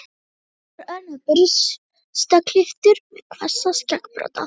Hilmar Örn er burstaklipptur með hvassa skeggbrodda.